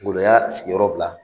Ngolo y'a sigi yɔrɔ bila.